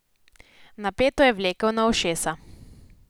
Napeto je vlekel na ušesa.